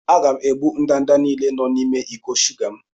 Aga m egbu ndanda niile nọ n'ime iko shuga m.